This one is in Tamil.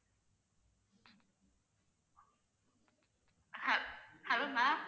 hel~ hello ma'am